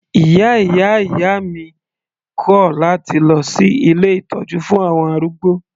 Ìyá ìyá ìyá mi kò láti lọ sí ilé ìtọ́jú fún àwọn arúgbó.